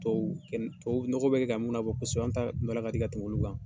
Tuau tuau nɔgɔ bɛ ka mun labɔ kosɛbɛ an ta baara ka di ka tɛmɛ olu kan